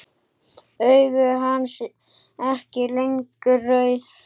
Augu hans ekki lengur rauð.